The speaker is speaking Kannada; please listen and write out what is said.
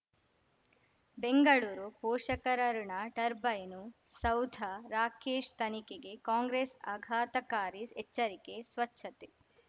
ಬೆಂಗಳೂರು ಪೋಷಕರಋಣ ಟರ್ಬೈನು ಸೌಧ ರಾಕೇಶ್ ತನಿಖೆಗೆ ಕಾಂಗ್ರೆಸ್ ಆಘಾತಕಾರಿ ಎಚ್ಚರಿಕೆ ಸ್ವಚ್ಛತೆ